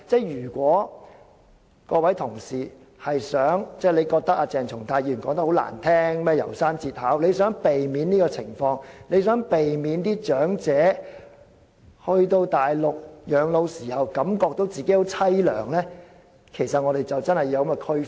如果議員認為鄭松泰議員剛才有關"楢山節考"的發言不中聽，想避免這情況，希望長者到內地養老時不會覺得自己很淒涼，便真的要作出區分。